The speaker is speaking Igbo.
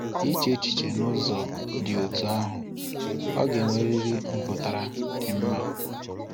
Iche echiche n'ụzọ dị otú ahụ, Ọ ga-enweriri mpụtara dị mma.